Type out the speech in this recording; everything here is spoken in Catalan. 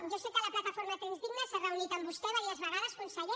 jo sé que la plataforma trens dignes s’ha reunit amb vostè diverses vegades conseller